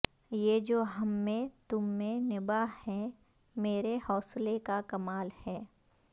یہ جو ہم میں تم میں نباہ ہے میرے حوصلے کا کمال ہے